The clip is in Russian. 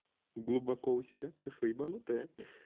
глубоко у себя ты что ебанутая